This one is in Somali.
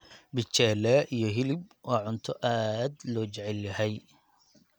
Michele iyo hilib waa cunto aad loo jecel yahay